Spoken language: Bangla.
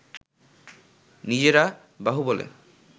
নিজেরা বাহুবলে